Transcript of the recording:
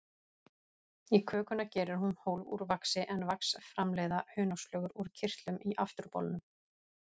Í kökuna gerir hún hólf úr vaxi, en vax framleiða hunangsflugur úr kirtlum í afturbolnum.